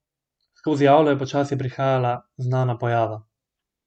Skozi avlo je počasi prihajala znana pojava.